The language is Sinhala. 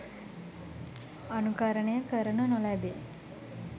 අනුකරණය කරනු නොලැබේ.